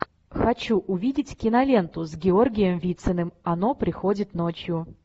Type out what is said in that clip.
хочу увидеть киноленту с георгием вициным оно приходит ночью